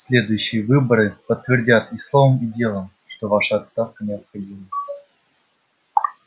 следующие выборы подтвердят и словом и делом что ваша отставка необходима